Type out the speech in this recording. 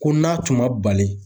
Ko n'a tun ma bali.